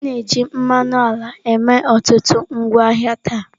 A na-eji mmanụ ala eme ọtụtụ ngwaahịa taa.